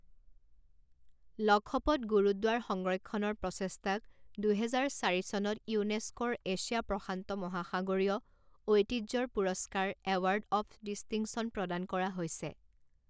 লখপত গুৰুদ্বাৰ সংৰক্ষণৰ প্ৰচেষ্টাক দুহেজাৰ চাৰি চনত ইউনেস্কৰ এছিয়া প্ৰশান্ত মহাসাগৰীয় ঐতিহ্যৰ পুৰস্কাৰ এৱাৰ্ড অফ ডিষ্টিংচন প্ৰদান কৰা হৈছে।